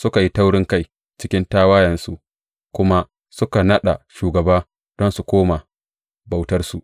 Suka yi taurinkai, cikin tawayensu kuma suka naɗa shugaba don su koma bautarsu.